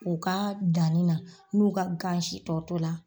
U ka danni na n'u ka gansi tɔ to la